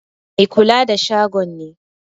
Mai kula da shagon ne.